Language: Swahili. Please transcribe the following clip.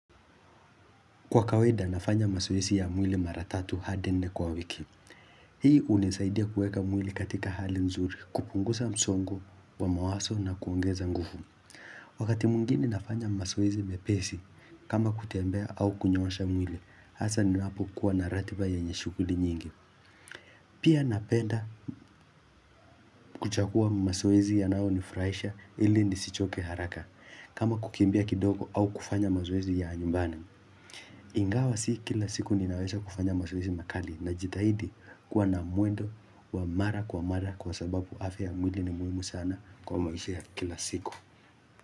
Kwa kawaida nafanya masoesi ya mwili mara tatu hadi nne kwa wiki Hii hunisaidia kuweka mwili katika hali nzuri kupungusa msongo wa mawaso na kuongeza ngufu Wakati mwengine nafanya masoezi mepesi kama kutembea au kunyoosha mwili hasa ninapokuwa na ratiba yenye shughuli nyingi Pia napenda kuchagua masoezi yanaonifraisha ili nisichoke haraka kama kukimbia kidogo au kufanya mazoezi ya nyumbani Ingawa si kila siku ninaweza kufanya mazoezi makali najitahidi kuwa na mwendo wa mara kwa mara kwa sababu afya ya mwili ni muhimu sana kwa maisha ya kila siku.